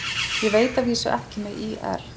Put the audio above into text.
Ég veit að vísu ekki með ÍR.